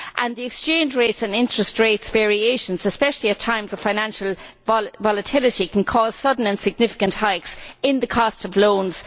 The exchange rate and interest rate variations, especially at times of financial volatility, can cause sudden and significant hikes in the cost of loans.